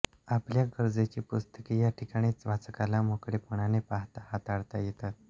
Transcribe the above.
आपल्या गरजेनी पुस्तके या ठिकाणी वाचकाला मोकळेपणाने पाहता हाताळता येतात